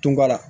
Tunba la